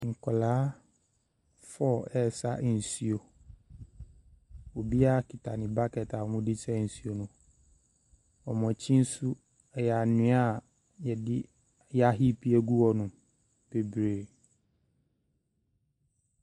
Nkwaraa four resa nsuo. Obiara kita ne bucket a wɔde resa nsuo no. Wɔn akyi nso yɛ anwea yɛde yɛahipe agu hɔnom bebree.